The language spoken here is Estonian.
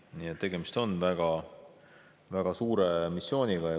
Nii et tegemist on väga suure missiooniga.